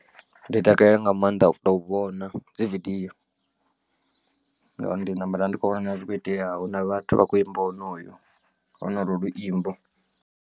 Ndi takalela nga maanḓa u tou vhona dzividiyo, ngauri ndi namba nda ndi tshikho vhona na zwono kho iteaho na vhathu vha kho imba honoyo honolwo luimbo.